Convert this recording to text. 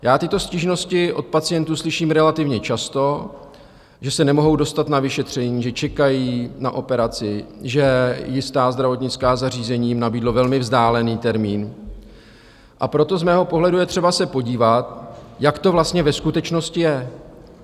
Já tyto stížnosti od pacientů slyším relativně často, že se nemohou dostat na vyšetření, že čekají na operaci, že jisté zdravotnická zařízení jim nabídlo velmi vzdálený termín, a proto z mého pohledu je třeba se podívat, jak to vlastně ve skutečnosti je.